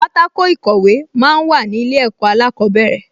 Pátákò ìkọ̀wé máa ń wà ní ilé ẹ̀kọ́ alákọ̀ọ́bẹ̀rẹ̀